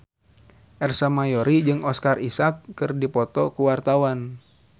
Ersa Mayori jeung Oscar Isaac keur dipoto ku wartawan